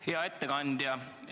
Hea ettekandja!